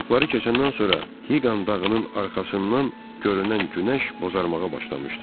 Pambuqları keçəndən sonra Hiqan dağının arxasından görünən günəş bozaramağa başlamışdı.